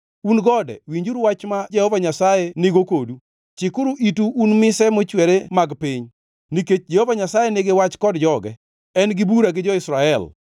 “Un gode, winjuru wach ma Jehova Nyasaye nigo kodu, chikuru itu un mise mochwere mag piny. Nikech Jehova Nyasaye nigi wach kod joge; en gi bura gi jo-Israel.